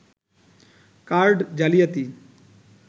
card জালিয়াতি